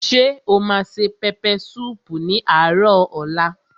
Ṣé o ma se pẹpẹ súùpù ní àárò ọ̀la?